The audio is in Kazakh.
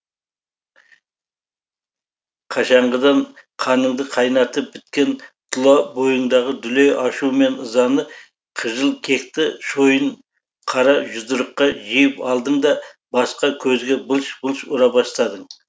қашанғыдан қаныңды қайнатып біткен тұла бойыңдағы дүлей ашу мен ызаны қыжыл кекті шойын қара жұдырыққа жиып алдым да басқа көзге былш былш ұра бастадым